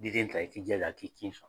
Di den ta i k'i jilaja a k'i kin sɔ